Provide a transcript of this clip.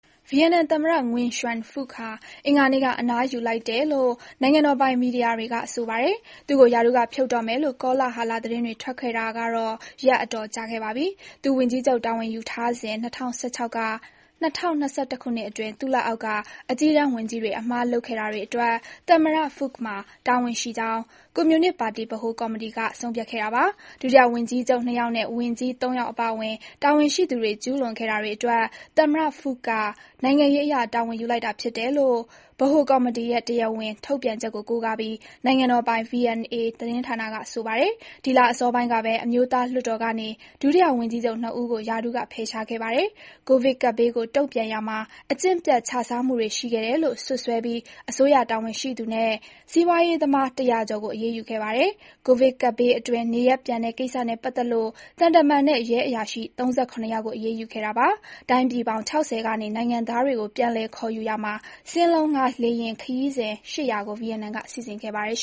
ဗီယက်နမ်သမ္မတငွင်ရွှမ်ဖုခ် (Nguyen Xuan Phuc) ဟာ အင်္ဂါနေ့မှာ အနားယူလိုက်တယ်လို့ နိုင်ငံတော်ပိုင် မီဒီယာတွေက ဆိုပါတယ်။ သူ့ကို ရာထူးကဖြုတ်တော့မယ်လို့ ကောလဟလ သတင်းတွေ ထွက်ခဲ့တာ ရက်အတော်ကြာခဲ့ပါပြီ။ ဝန်ကြီးချုပ်တာဝန်ယူထားစဉ် ၂၀၁၆ က ၂၀၂၁ အတွင်း သူ့လက်အောက်က အကြီးတန်းဝန်ကြီးတွေ အမှားလုပ်ခဲ့တာအတွက် သမ္မတဖုခ်မှာ တာဝန်ရှိကြောင်း ကွန်မြူနစ်ပါတီ ဗဟိုကော်မီတီက ဆုံးဖြတ်ခဲ့တာပါ။ ဒုတိယ ဝန်ကြီးချုပ် ၂ ယောက် နဲ့ ဝန်ကြီး ၃ ယောက် အပါအဝင် တာဝန်ရှိသူဝန်ရှိသူတွေ ကျူးလွန်ခဲ့တာတွေအတွက် သမ္မတဖုခ်က နိုင်ငံရေးအရ တာဝန်ယူလိုက်တာဖြစ်တယ်လို့ ဗဟိုကော်မီတီ ရဲ့ တရားဝင် ထုတ်ပြန်ချက်ကို ကိုးကားပြီး၊ နိုင်ငံတော်ပိုင် VNA သတင်းဌာန က ဆိုပါတယ်။ ဒီလအစောပိုင်းကပဲ အမျိုးသားလွှတ်တော်ကနေ ဒုတိယ ဝန်ကြီးချုပ်နှစ်ဦးကို ရာထူးက ဖယ်ရှားခဲ့ပါတယ်။ ကိုဗစ်ကပ်ဘေးကို တုံ့ပြန်ရာမှာ အကျင့်ပျက်ခြစားမှုတွေ ရှိခဲ့တယ်လို့ စွပ်စွဲပြီး အစိုးရတာဝန်ရှိသူနဲ့ စီးပွါးရေးသမား ၁၀၀ ကျော်ကို အရေးယူခဲ့ပါတယ်။ ကိုဗစ်ကပ်ဘေးအတွင်း နေရပ်ပြန်တဲ့ ကိစ္စနဲ့ ပတ်သက်လို့ သံတမန်နဲ့ ရဲအရာရှိ ၃၇ ယောက်ကို အရေးယူခဲ့တာပါ။ တိုင်းပြည်ပေါင်း ၆၀ ကနေ နိုင်ငံသားတွေကို ပြန်လည်ခေါ်ယူရာမှာ စင်းလုံးငှါးလေယာဉ် ခရီးစဉ် ၈၀၀ ကို ဗီယက်နမ်က စီစဉ်ခဲ့ပါတယ်